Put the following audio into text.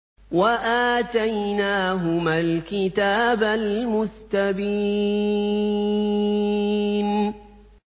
وَآتَيْنَاهُمَا الْكِتَابَ الْمُسْتَبِينَ